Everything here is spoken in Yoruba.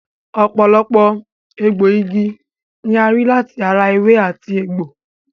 Ọ̀pọ̀lọpọ̀ egbòogi ni a rí láti ara ewé àti egbò